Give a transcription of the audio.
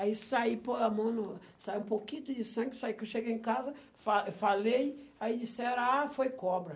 Aí saí, pondo a mão no, saiu um pouquinho de sangue saiu, que eu cheguei em casa, fa falei, aí disseram, ah, foi cobra.